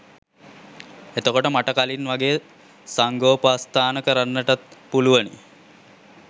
එතකොට මට කලින් වගේ සංඝෝපස්ථාන කරන්නටත් පුළුවනි